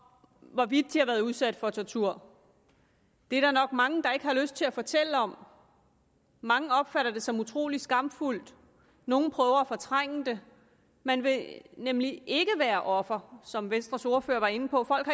hvorvidt de været udsat for tortur det er der nok mange der ikke har lyst til at fortælle om mange opfatter det som utrolig skamfuldt nogle prøver at fortrænge det man vil nemlig ikke være offer som venstres ordfører var inde på folk